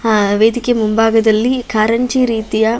ಅಹ್ ವೇಧಿಕೆ ಮುಂಭಾಗದಲ್ಲಿ ಕಾರಂಜಿ ರೀತಿಯ --